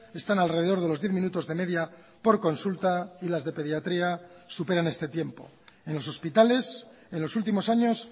están alrededor de los diez minutos de media por consulta y las de pediatría superan este tiempo en los hospitales en los últimos años